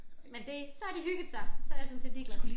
Men det så har de hygget sig så jeg sådan set ligeglad